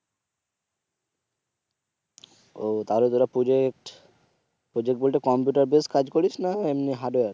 ও তাহলে তোরা project project বলতে কম্পিউটার বেস কাজ করিস নাকি এমনি হার্ডওয়্যার